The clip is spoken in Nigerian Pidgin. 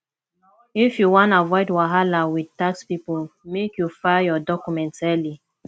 if you wan avoid wahala wit tax pipo make you file your documents early